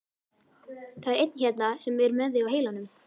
Það er einn hérna sem er með þig á heilanum.